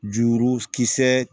Juru kisɛ